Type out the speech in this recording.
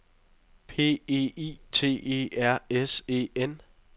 P E I T E R S E N